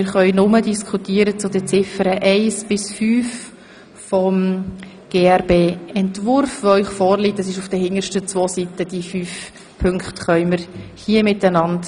Wir können einzig über die Ziffern eins bis fünf des vorliegenden Grossratsbeschlussesentwurfs diskutieren.